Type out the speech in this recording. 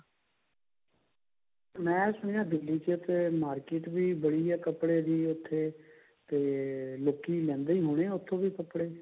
ਮੈਂ ਸੁਣਿਆ ਦਿੱਲੀ ਚ ਇੱਥੇ market ਵੀ ਵਧੀਆ ਕੱਪੜੇ ਦੀ ਇੱਥੇ ਤੇ ਲੋਕੀ ਲੈਂਦੇ ਹੀ ਹੁੰਦੇ ਨੇ ਉੱਥੋਂ ਕੱਪੜੇ